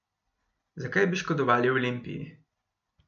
Zakaj bi škodovali Olimpiji?